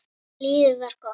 Lífið var gott.